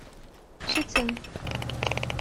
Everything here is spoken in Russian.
щецин